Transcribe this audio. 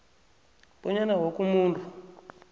bonyana woke umuntu